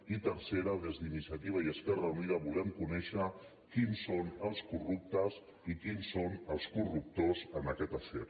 i tercera des d’iniciativa i esquerra unida volem conèixer qui són els corruptes i qui són els cor·ruptors en aquest afer